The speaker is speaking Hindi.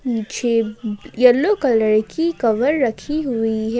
पीछे येलो कलर की कवर रखी हुई है।